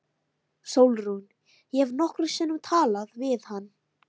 SÓLRÚN: Ég hef nokkrum sinnum talað við hann.